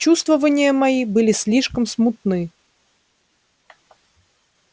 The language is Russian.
чувствования мои были слишком смутны